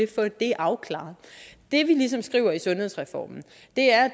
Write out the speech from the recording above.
få det afklaret det vi skriver i sundhedsreformen